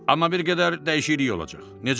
Amma bir qədər dəyişiklik olacaq, necə?